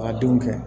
A ka denw kɛ